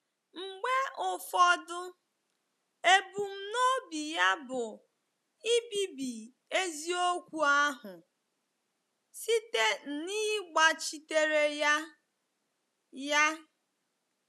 Mgbe ụfọdụ, ebumnobi ya bụ ibibi eziokwu ahụ site n'ịgbachitere ya.” ya.”